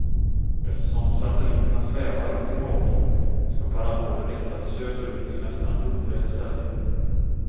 Eftersom satelliterna svävar runt ekvatorn skall parabolen riktas söderut i nästan lodrät ställning.